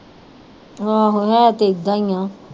ਆਹੋ ਹੈ ਤੇ ਏਦਾਂ ਹੀ ਆਂ